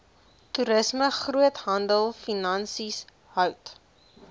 toerisme groothandelfinansies hout